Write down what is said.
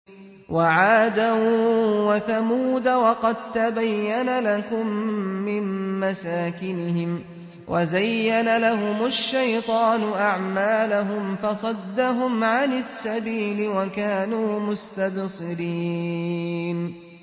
وَعَادًا وَثَمُودَ وَقَد تَّبَيَّنَ لَكُم مِّن مَّسَاكِنِهِمْ ۖ وَزَيَّنَ لَهُمُ الشَّيْطَانُ أَعْمَالَهُمْ فَصَدَّهُمْ عَنِ السَّبِيلِ وَكَانُوا مُسْتَبْصِرِينَ